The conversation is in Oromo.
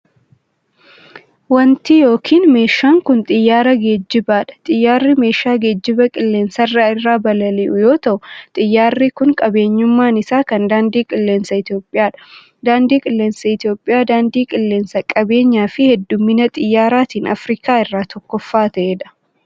Wanti yokin meeshaan kun, xiyyaara geejibaa dha. Xiyyaarri meeshaa geejibaa qilleensa irra balali'u yoo ta'u, xiyyaarri kun qabeenyummaan isaa kan daandii qilleensaa Itoophiyaa dha. Daandii qilleensaa Itoophiyaa daandii qilleensaa qabeenyaan fi hedduummina xiyyaaraatin Afriikaa irraa tokkoffaa ta'ee dha.